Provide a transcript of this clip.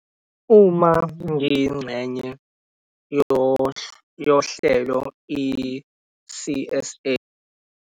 Uma ngiyingxenye yohlelo i-C_S_A.